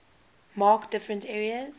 mark different areas